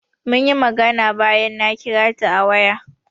Munyi magana bayan na kira ta a waya.